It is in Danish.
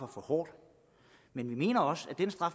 for hårdt men vi mener at